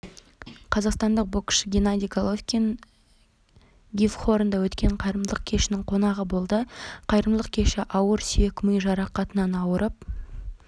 қазақстандық боксшы геннадий головкин гифхорнда өткен қайырымдылық кешінің қонағы болды қайырымдылық кеші ауыр сүйек-ми жарақатынан ауырып